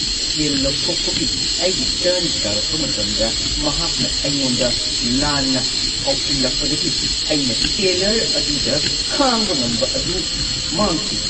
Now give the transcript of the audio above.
ꯁꯦꯜ ꯂꯧꯊꯣꯛꯄꯒꯤ ꯑꯩꯒꯤ ꯇꯔꯟ ꯇꯥꯔꯛꯄ ꯃꯇꯝꯗ ꯃꯍꯥꯛꯅ ꯑꯩꯉꯣꯟꯗ ꯂꯥꯟꯅ ꯁꯥꯎꯖꯤꯜꯂꯛꯄꯗꯒꯤ ꯑꯩꯅ ꯇꯦꯜꯂꯔ ꯑꯗꯨꯗ ꯈꯥꯡꯕ ꯉꯝꯕ ꯑꯗꯨ ꯃꯥꯡꯈꯤ꯫